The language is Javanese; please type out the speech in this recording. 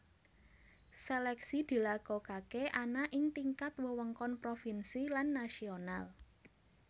Seleksi dilakokake ana ing tingkat wewengkon provinsi lan nasional